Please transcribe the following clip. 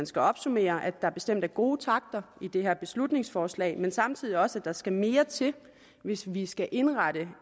skal opsummere at der bestemt er gode takter i det her beslutningsforslag men samtidig også at der skal mere til hvis vi skal indrette